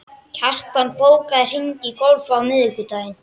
Kjartan, bókaðu hring í golf á miðvikudaginn.